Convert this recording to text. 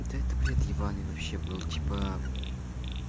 да это бред ебаный вообще был типа